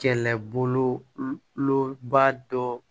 Kɛlɛboloba dɔ